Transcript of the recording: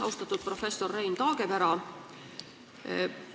Austatud professor Rein Taagepera!